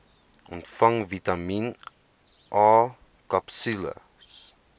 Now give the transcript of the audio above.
ontvang vitamien akapsules